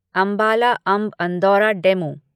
Ambala Amb Andaura DEMU